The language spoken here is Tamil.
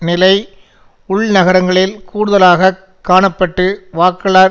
நிலை உள்நகரங்களில் கூடுதலாக காண பட்டு வாக்காளர்